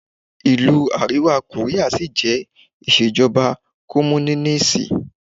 Ìlú Àríwá Kóríà sí jẹ́ ìṣèjọba Kọ́múnínísì.